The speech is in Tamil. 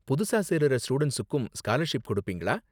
புதுசா சேருற ஸ்டூடண்ட்ஸுக்கும் ஸ்காலர்ஷிப் கொடுப்பீங்களா?